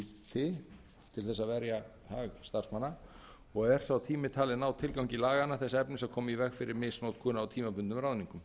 þess að verja hag starfsmanna og er sá tími talinn ná tilgangi laganna þess efnis að koma í veg fyrir misnotkun á tímabundnum ráðningum